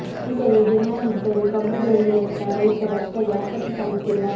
ಹೀಗಾಗಿ ಡಿಮ್ಯಾಂಡ್ ಇದ್ದರೂ ಕಬ್ಬು ಬೆಳೆಯುವತ್ತ ರೈತರು ಅಷ್ಟಾಗಿ ಆಸಕ್ತಿ ತಾಳುತ್ತಿಲ್ಲ